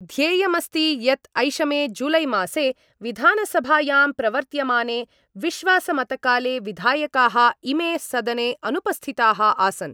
ध्येयमस्ति यत् ऐषमे जुलैमासे विधानसभायां प्रवर्त्यमाने विश्वासमतकाले विधायकाः इमे सदने अनुपस्थिताः आसन्।